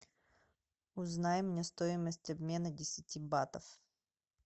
узнай мне стоимость обмена десяти батов